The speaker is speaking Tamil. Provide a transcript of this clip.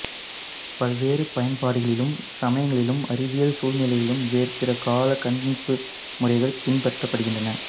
பல்வேறு பன்பாடுகளிலும் சமயங்களிலும் அறிவியல் சூழ்நிலைகளிலும் வேற் பிற காலக் கணிப்பு முறைகள் பின்பற்றப்படுகின்றன